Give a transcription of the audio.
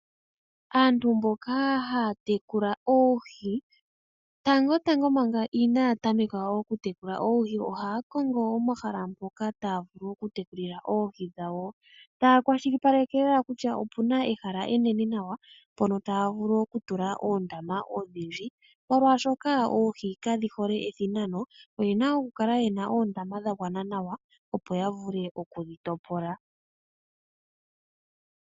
Aantu mboka haya tekula oohi, tangotango manga inaya tameka okutekula oohi ohaya kongo omahala mpoka taya vulu okutekulila oohi dhawo. Taya kwashilipaleke lela kutya opu na ehala enene nawa mpono taya vulu okutula oondama odhindji, molwashoka oohi kadhi hole ethinano. Oye na okukala ye na oondama dha gwana nawa, opo ya vule okudhi topola.